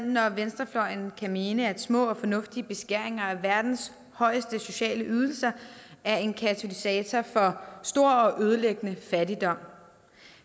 når venstrefløjen kan mene at små og fornuftige beskæringer af verdens højeste sociale ydelser er en katalysator for stor og ødelæggende fattigdom